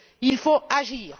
Il faut agir.